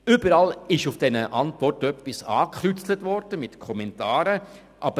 Überall wurde bei den Antworten etwas angekreuzt und mit Kommentaren versehen.